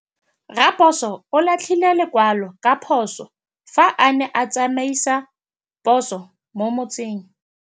Raposo o latlhie lekwalô ka phosô fa a ne a tsamaisa poso mo motseng.